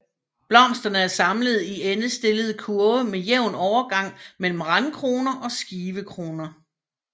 Blomsterne er samlet i endestillede kurve med jævn overgang mellem randkroner og skivekroner